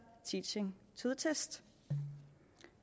teaching to the test